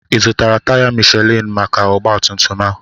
Ị zụtara taya Mishelin maka ọgbatumtum a?